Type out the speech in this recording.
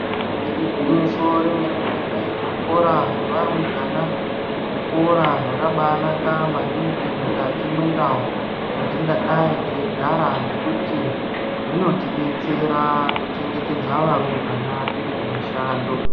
Igwinyiso remene-mene, zvikora zvevarumbwana zvikora zvakabaanaka maningi mukati mendau dzatingadai teigara, ngekuti zvinotidetsera kuchengetedza varumbwana tirikumishando.